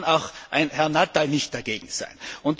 Da kann auch ein Herr Nuttall nicht dagegen sein.